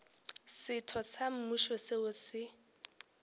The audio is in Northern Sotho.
setho sa mmušo seo se